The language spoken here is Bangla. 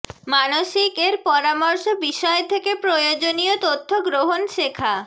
মানসিক এর পরামর্শ বিষয় থেকে প্রয়োজনীয় তথ্য গ্রহণ শেখা